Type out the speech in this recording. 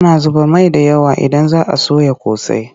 Ana zuba mai da yawa idan za a soya ƙosai.